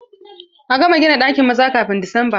A gama gina ɗakin maza kafin Disamba!